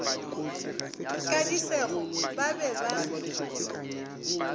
ka disego ba be ba